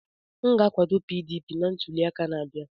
M ga-akwado PDP na ntuli aka na-abịa.